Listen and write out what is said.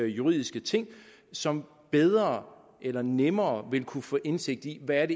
juridiske ting som bedre eller nemmere vil kunne få indsigt i hvad